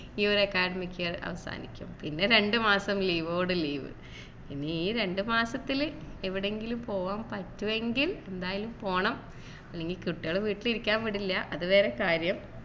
ഈ ഒരു academic year അവസാനിക്കും പിന്നെ രണ്ടു മാസം leave ഓട് leave ഇനി ഈ രണ്ടുമാസത്തില് എവിടെയെങ്കിലും പോകാൻ പറ്റുമെങ്കിൽ എന്തായാലും പോണം അല്ലെങ്കിൽ കുട്ടികൾ വീട്ടിൽ ഇരിക്കാൻ വിടില്ല അത് വേറെ കാര്യം